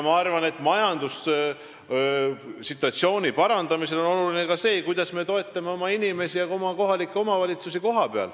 Ma arvan, et majanduse situatsiooni parandamisel on oluline see, kuidas me toetame oma inimesi ja kohalikke omavalitsusi.